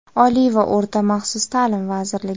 Oliy va o‘rta maxsus taʼlim vazirligi.